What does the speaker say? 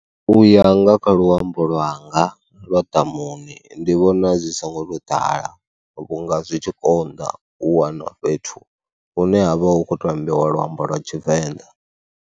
U ya nga kha luambo lwanga lwa ḓamuni, ndi vhona zwi songo tou ḓala vhunga zwi tshi konḓa u wana fhethu hune ha vha hu khou to ambiwa luambo lwa Tshivenḓa.